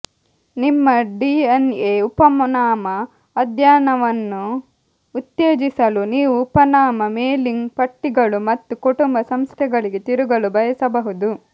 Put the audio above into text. ನಿಮ್ಮ ಡಿಎನ್ಎ ಉಪನಾಮ ಅಧ್ಯಯನವನ್ನು ಉತ್ತೇಜಿಸಲು ನೀವು ಉಪನಾಮ ಮೇಲಿಂಗ್ ಪಟ್ಟಿಗಳು ಮತ್ತು ಕುಟುಂಬ ಸಂಸ್ಥೆಗಳಿಗೆ ತಿರುಗಲು ಬಯಸಬಹುದು